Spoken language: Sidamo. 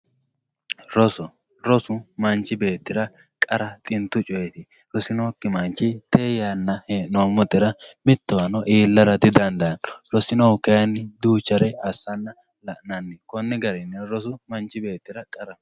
Rosu rosu manchi beetira qara xintu coyiti rosinoki manchi tee henomotera mtowano iilara didandano rosinohu kayini duuchare asana lanani koni garini rosu manchi beetira qaraho.